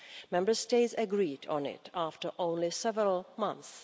Member States agreed on it after only several months